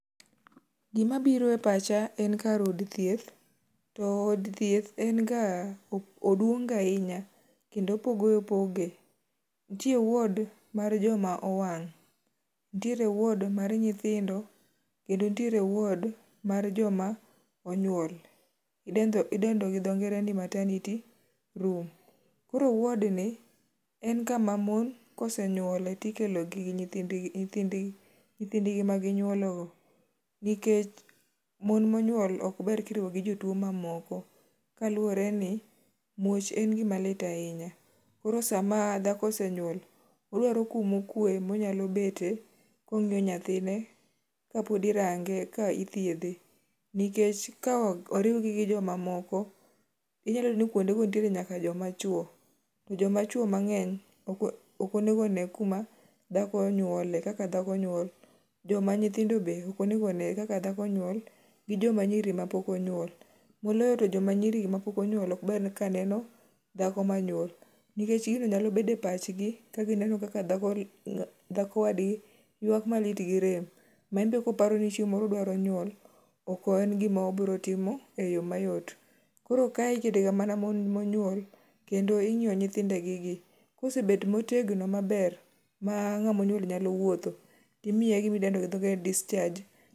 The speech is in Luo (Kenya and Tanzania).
Gima biro e pacha en kar od thieth to od thieth en ga oduong' ga ahinya. Kendo opoge opoge, nitie wod mar joma owang', nitie wod mar nyithindo kendo nitiere wod mar joma onyuol idendo gi dho ngere ni maternity room. Koro wod ni en kama mon ka osenyuolie to ikelogi gi nyithindgi maginyuologo nikech mon monyuol ok ber ka iriwo gi jotuo mamoko kaluwore ni muoch en gima lit ahinya. Koro sama dhako osenyuol, odwaro kuma okwe ma onyalo betie kong'iyo nyathine kapod irange kapod ithiedhe. Nikech ka oriwgi gi jomamoko, inyalo yudo ni kuondego nitiere nyaka joma chuo to jomachuo mang'eny ok onego one kuma dhako onyuolie kaka dhako nyuol, joma nyithindo be ok onego one kaka dhako nyuol, gi joma nyiri mapok onyuol moloyo to joma nyiri mapok onyuol, moloyo to joma nyiri mapok onyuol ok ber kaneno dhako manyuol nikech gino nyalo bet e pachgi ka gineno ka dhako wadgi ywak malit gi rem ma en be koparo ni chieng' moro odwaro nyuol, ok en gima obiro timo eyo mayot. Koro kae iketega mana mon monyuol kendo ing'iyo nyithindogi gi kosebet motegno maber ma ng'ama onyuol nyalo wuotho to imiye gima idndo gi dho ngere ni discharge.